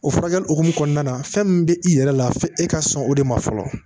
O furakɛli hukumu kɔnɔna na fɛn min bɛ i yɛrɛ la fe e ka sɔn o de ma fɔlɔ